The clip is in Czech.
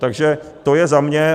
Takže to je za mě.